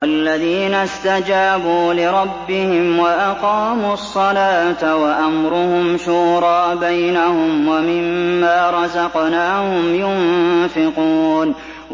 وَالَّذِينَ اسْتَجَابُوا لِرَبِّهِمْ وَأَقَامُوا الصَّلَاةَ وَأَمْرُهُمْ شُورَىٰ بَيْنَهُمْ وَمِمَّا رَزَقْنَاهُمْ يُنفِقُونَ